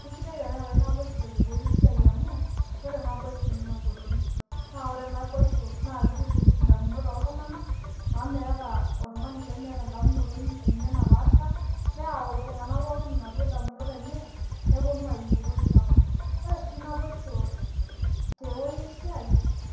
Keisidai teneetai naboishu tewueji esiai amu ore naboishu neengolon, ore naboishu naakeitutum indamunot oltung'anak amu meeta oltung'ani lemeeta endamunoto enye napaasha, neyau iltung'anak pooki inaduo damunot enye nepuonu aiu entoki sapuk. Ore sii naboisho tewuei esiai